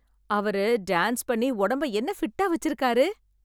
அவரு டான்ஸ் பண்ணி ஒடம்ப என்ன ஃபிட்டா வச்சிருக்காரு .